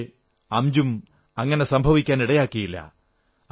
പക്ഷേ അംജും അങ്ങനെ സംഭവിക്കാനിടയാക്കിയില്ല